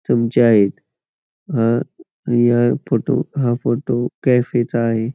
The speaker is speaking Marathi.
तुमच्या एक अ या फोटो हा फोटो कॅफे चा आहे.